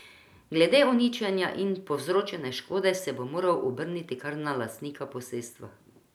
Glede uničenja in povzročene škode se bo moral obrniti kar na lastnika posestva.